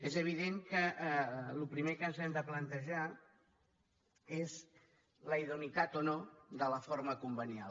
és evident que el primer que ens hem de plantejar és la idoneïtat o no de la forma convenial